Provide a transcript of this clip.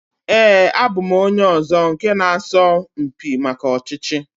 Ee, abụ m onye ọzọ nke na asọ mpi maka ọchịchị